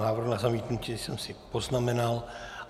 Návrh na zamítnutí jsem si poznamenal.